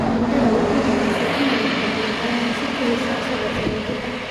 Mandanda wuxuu go'aansaday inuu noqdo goolhayaha si kadis ah isagoo sagaal jir ah.